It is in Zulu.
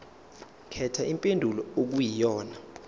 khetha impendulo okuyiyona